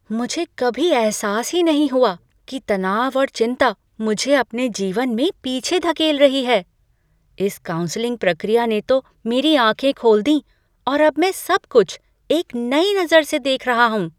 मुझे कभी एहसास ही नहीं हुआ कि तनाव और चिंता मुझे अपने जीवन में पीछे धकेल रही है। इस काउंसलिंग प्रक्रिया ने तो मेरी आँखें खोल दी और अब मैं सबकुछ एक नई नज़र से देख रहा हूँ।